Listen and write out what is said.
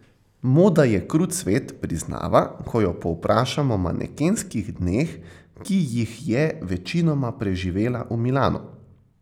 Moda je krut svet, priznava, ko jo povprašam o manekenskih dneh, ki jih je večinoma preživela v Milanu.